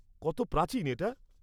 -কত প্রাচীন এটা?